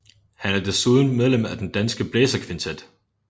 Han er desuden medlem af Den Danske Blæserkvintet